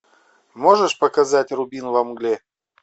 можешь показать рубин во мгле